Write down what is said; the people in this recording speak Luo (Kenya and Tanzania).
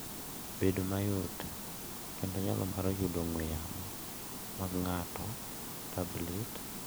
Bedo mayot kendo nyalo mar yudo ong'we yamo mag ng’ato, tablet,